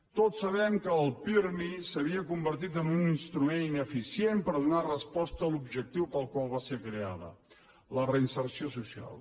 tots sabem que el pirmi s’havia convertit en un instrument ineficient per donar resposta a l’objectiu per al qual va ser creat la reinserció social